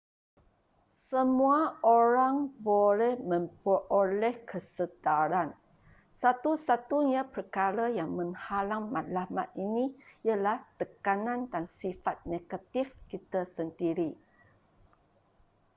semua orang boleh memperoleh kesedaran satu-satunya perkara yang menghalang matlamat ini ialah tekanan dan sifat negatif kita sendiri